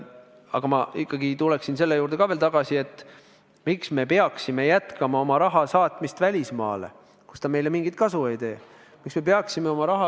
Aga ma ikkagi tulen selle juurde ka veel tagasi, et miks me peaksime jätkama oma raha saatmist välismaale, kus see meile mingit kasu ei too.